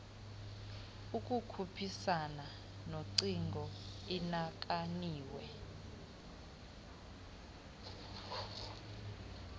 ukukhuphisana nogcino inakaniwe